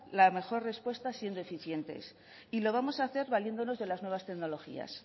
la mejor respuesta siendo eficientes y lo vamos a hacer valiéndonos de las nuevas tecnologías